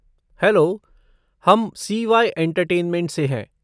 Hello, हम CY. Entertainment से हैं।